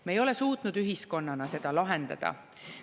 Me ei ole suutnud ühiskonnana seda lahendada.